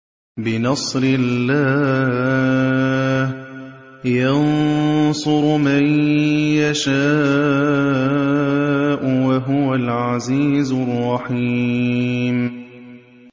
بِنَصْرِ اللَّهِ ۚ يَنصُرُ مَن يَشَاءُ ۖ وَهُوَ الْعَزِيزُ الرَّحِيمُ